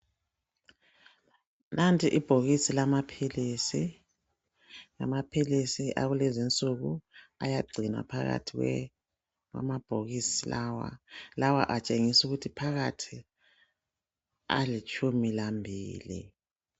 Nanti ibhokisi lamaphilisi. Amaphilisi akulezinsuku ayagcinwa phakathi kwe kwamabhokisi lawa. Lawa atshengisukuthi phakathi alitshumi lambili.